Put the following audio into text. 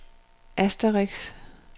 asterisk